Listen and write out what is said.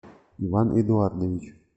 иван эдуардович